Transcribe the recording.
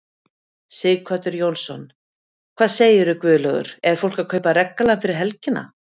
Sighvatur Jónsson: Hvað segirðu Guðlaugur er fólk að kaupa regngallann fyrir helgina?